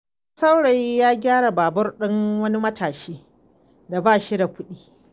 Wani saurayi ya gyara babur ɗin wani matashi da ba shi da kuɗi.